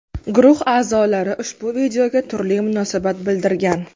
Guruh a’zolari ushbu videoga turli munosabat bildirgan.